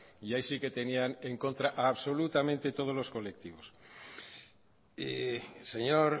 y ahí sí que tenían en contra absolutamente todos los colectivos señor